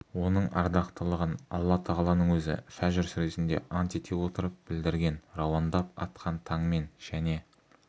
оның ардақтылығын алла тағаланың өзі фәжр сүресінде ант ете отырып білдірген рауандап атқан таңмен және